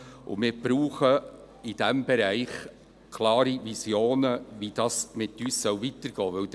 Wir brauchen in diesem Bereich klare Visionen, wie es mit uns weitergehen soll.